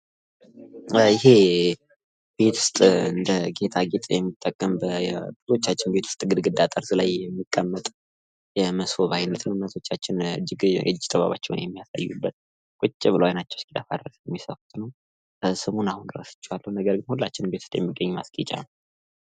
ይህ ቤት ውስጥ እንደ ጌጣጌጥ የሚጠቅም በብዙዎቻችን ቤት ውስጥ ግድግዳ ጠርዝ ላይ የሚቀመጥ የሞሰብ አይነት ነው ።እናቶቻችን የእጅ ጥበባቸውን የሚያሳዩበት ቁጭ ብለው አይናቸው እስኪጠፋ ድረስ የሚሰፉት ነው ። ስሙን አሁን ረስቸዋለሁ ነገር ግን ሁላችንም ቤት ውስጥ የሚገኝ ማስጌጫ ነው ።